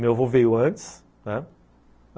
Meu avô veio antes, né?